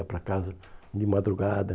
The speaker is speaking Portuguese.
Ia para casa de madrugada.